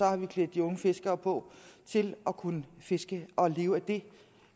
har vi klædt de unge fiskere på til at kunne fiske og leve af det